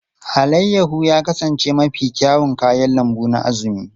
Alayyahu ya kasance mafi kyawun kayan lambu na Azumi.